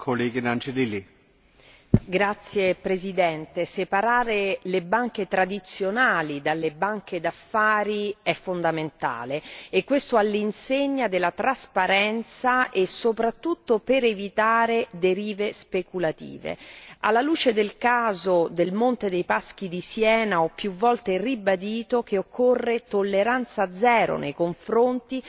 Signor Presidente, onorevoli colleghi, separare le banche tradizionali dalle banche d'affari è fondamentale e questo all'insegna della trasparenza e soprattutto per evitare derive speculative. Alla luce del caso del Monte dei Paschi di Siena, ho più volte ribadito che occorre tolleranza zero nei confronti